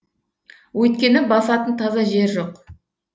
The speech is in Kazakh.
өйткені басатын таза жер жоқ